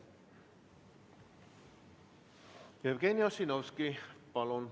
Jevgeni Ossinovski, palun!